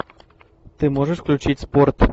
ты можешь включить спорт